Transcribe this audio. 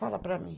Fala para mim.